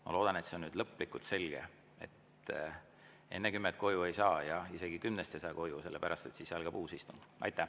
Ma loodan, et see on nüüd lõplikult selge, et enne kella 10 koju ei saa ja isegi kella 10-st ei saa koju, sellepärast, et siis algab uus istung.